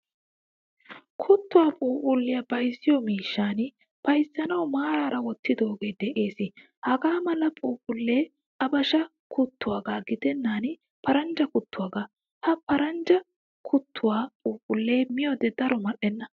Kuttuwaa phuuphiliyaa bayzziyo miishshan bayzzanawu maarara wottidoge de'ees. Hagaa mala phuuphphule habashsha kuttuwaaga gidenan paranjja kuttuwaaga. Ha paranjja kuttuwaa phuuphphule miyode daro mal'enna.